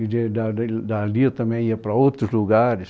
E de da de dali eu também ia para outros lugares.